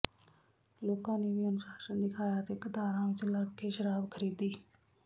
ਲੋਕਾਂ ਨੇ ਵੀ ਅਨੁਸਾਸ਼ਨ ਦਿਖਾਇਆ ਤੇ ਕਤਾਰਾਂ ਵਿੱਚ ਲੱਗ ਕੇ ਸ਼ਰਾਬ ਖਰੀਦੀ